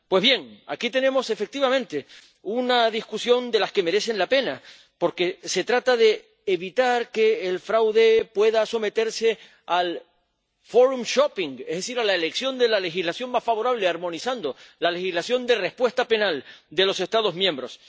Pues bien, aquí tenemos efectivamente una discusión de las que merecen la pena, porque se trata de evitar que el fraude pueda someterse al forum shopping es decir, a la elección de la legislación más favorable, armonizando la legislación de respuesta penal de los Estados miembros.